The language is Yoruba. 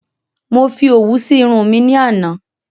Mo fi òwú si Irun mi ní àná